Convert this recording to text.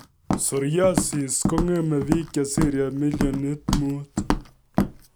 Psoriasis kong'eme bik chesire millioni tano